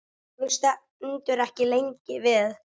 Hann stendur ekki lengi við.